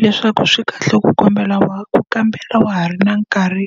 Leswaku swi kahle ku wa ku kambela wa ha ri na nkarhi